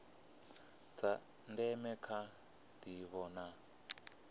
tsha ndeme kha ndivho na